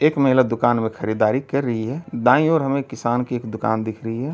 एक महिला दुकान में खरीदारी कर रही है। दांयी ओर हमें किसान की एक दुकान दिख रही है।